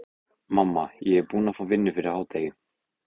Mamma, ég er búinn að fá vinnu fyrir hádegi.